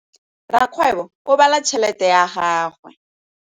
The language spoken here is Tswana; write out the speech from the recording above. Rakgwêbô o bala tšheletê ya gagwe.